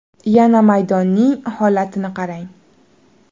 Yana maydonning holatini qarang.